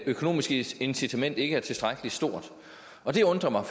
økonomiske incitament ikke er tilstrækkelig stort det undrer mig